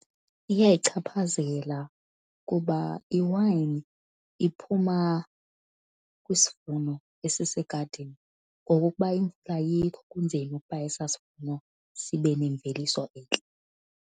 Iyayichaphazela kuba iwayini iphuma kwisivuno esisegadini, ngoko ukuba imvula ayikho kunzima ukuba esaa sivuno sibe nemveliso entle.